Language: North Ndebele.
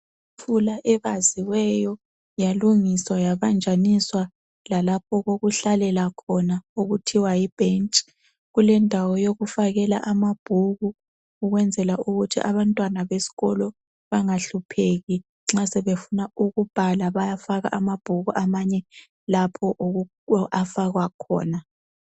Itafula ebaziweyo yalungiswa yabanjaniswa lalapho okokuhlalela khona okuthiwa yibhentshi. Kulendawo yokufakela amabhuku ukwenzela ukuthi abantwana besikolo bangahlupheki nxa sebefuna ukubhala bayafaka amabhuku amanye lapho afakwa khona.